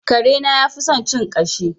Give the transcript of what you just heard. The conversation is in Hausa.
Karena yafi son cin ƙashi.